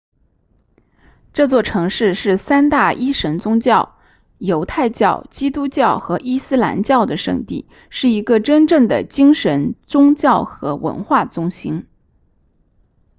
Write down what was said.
这座城市是三大一神宗教犹太教基督教和伊斯兰教的圣地是一个真正的精神宗教和文化中心